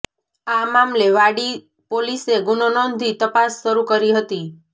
આ મામલે વાડી પોલીસે ગુનો નોંધી તપાસ શરૂ કરી હતી